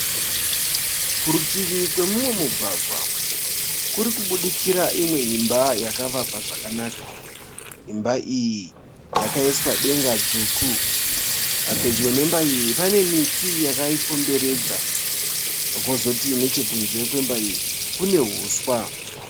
Kurutivi kwemumwe mugwagwa kurikubudikira imwe imba yakavakwa zvakanaka. Imba iyi yakaiswa denga dzvuku. Pedyo nemba iyi pane miti yakaikomberedza. Kwozoti nechekunze kwemba iyi kune huswa.